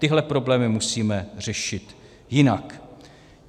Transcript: Tyhle problémy musíme řešit jinak.